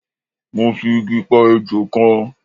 mo fi Igi pa ejò kan